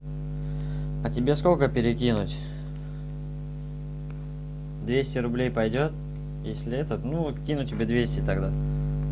а тебе сколько перекинуть двести рублей пойдет если это ну кину тебе двести тогда